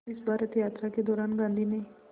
इस भारत यात्रा के दौरान गांधी ने